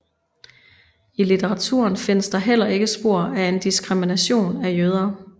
I litteraturen findes der heller ikke spor af en diskrimination af jøder